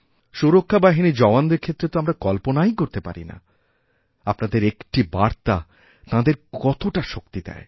সুরক্ষা বাহিনীর জওয়ানদের ক্ষেত্রে তো আমরাকল্পনাই করতে পারি না আপনাদের একটি বার্তা তাঁদের কতটা শক্তি দেয়